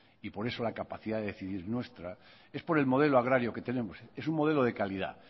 y por eso la capacidad de decidir nuestra es por el modelo agrario que tenemos es un modelo de calidad